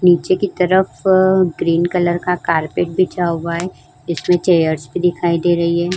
नीचे की तरफ ग्रीन कलर का कारपेट बिछा हुआ है। इसमें चेयर्स भी दिखाई दे रही है।